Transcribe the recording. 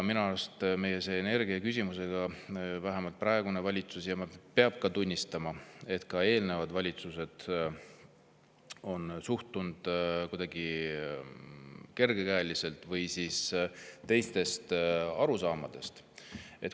Minu arust vähemalt praegune valitsus ja peab ka tunnistama, et ka eelnevad valitsused on suhtunud energiaküsimusse kuidagi kergekäeliselt või on olnud teised arusaamad.